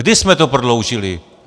Kdy jsme to prodloužili?